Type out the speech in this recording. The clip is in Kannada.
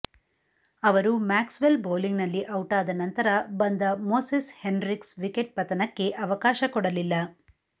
ಅವರು ಮ್ಯಾಕ್ಸ್ವೆಲ್ ಬೌಲಿಂಗ್ನಲ್ಲಿ ಔಟಾದ ನಂತರ ಬಂದ ಮೊಸಸ್ ಹೆನ್ರಿಕ್ಸ್ ವಿಕೆಟ್ ಪತನಕ್ಕೆ ಅವ ಕಾಶ ಕೊಡಲಿಲ್ಲ